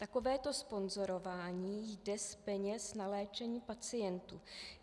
Takovéto sponzorování jde z peněz na léčení pacientů.